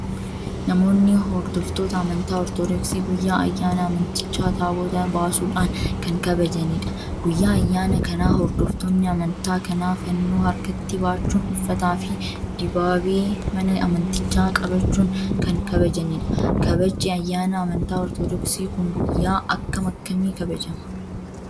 Namoonni hordoftoota Amantaa Ortoodoksi guyyaa ayyaana amantichaa Taabota baasuudhaan kan kabajanidha. Guyyaa ayyaana kanaa hordoftoonni amantaa kana fannoo harkatti baachuun uffataa fi dibaabee mana amantichaa qabachuun kan kabajanidha. Kabajji ayyaana amantaa Ortoodoksi kun guyyaa akkam akkamii kabajama?